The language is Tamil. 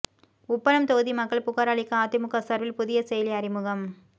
உப்பளம் தொகுதி மக்கள் புகாா் அளிக்க அதிமுக சாா்பில் புதிய செயலி அறிமுகம்